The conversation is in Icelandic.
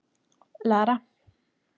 Lara